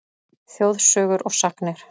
Þjóðsögur og sagnir